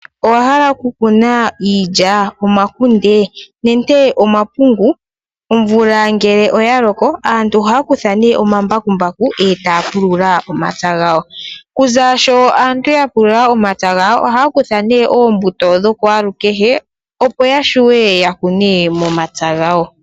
Owa hala oku kuna iilya, omakunde nenge omapungu? Omvula ngele oya oko aantu ohaya kutha nee omambakumbaku etaya pulula omapya gawo. Konima yokupulula omapya ohaya kutha oombuto dhakwaalukehe opo ya wape oku dhi kuna momapya gawo.